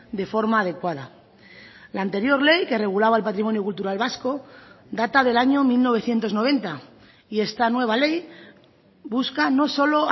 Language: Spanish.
de forma adecuada la anterior ley que regulaba el patrimonio cultural vasco data del año mil novecientos noventa y esta nueva ley busca no solo